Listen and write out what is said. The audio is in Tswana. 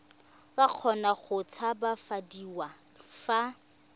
ka kgona go tshabafadiwa fa